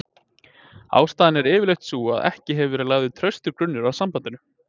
Ástæðan er yfirleitt sú að ekki hefur verið lagður traustur grunnur að sambandinu.